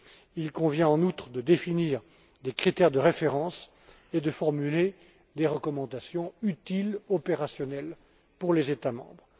Il convient, en outre, de définir des critères de référence et de formuler des recommandations utiles, opérationnelles, pour les États membres.